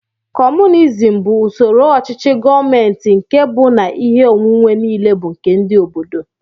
Communizim bụ usoro ochichi gọọmenti nkè bú na ihe onwunwe niile bu nke ndị obodo.